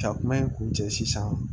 Ka kuma in kun cɛ sisan